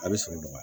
A bɛ sɔrɔ dɔgɔya